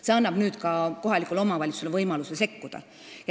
See seadus annab kohalikule omavalitsusele võimaluse sekkuda.